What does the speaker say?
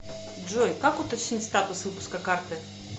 джой как уточнить статус выпуска карты